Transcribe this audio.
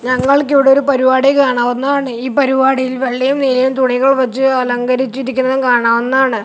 ഞാങ്ങൾക്കിവിടൊരു പരുവാടി കാണാവുന്നതാണ് ഈ പരുവാടിയിൽ വെള്ളയും നീലയും തുണികൾ വെച്ചു അലങ്കരിച്ചിരിക്കുന്നതും കാണാവുന്നതണ്.